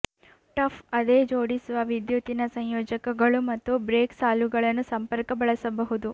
tough ಅದೇ ಜೋಡಿಸುವ ವಿದ್ಯುತ್ತಿನ ಸಂಯೋಜಕಗಳು ಮತ್ತು ಬ್ರೇಕ್ ಸಾಲುಗಳನ್ನು ಸಂಪರ್ಕ ಬಳಸಬಹುದು